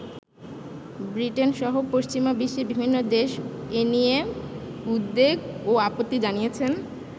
Britain সহ পশ্চিমা বিশ্বে বিভিন্ন দেশ এ নিয়ে উদ্বেগ ও আপত্তি জানিয়েছেন।